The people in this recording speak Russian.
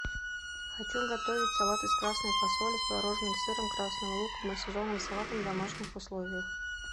хочу готовить салат из красной фасоли с творожным сыром красным луком и сезонным салатом в домашних условиях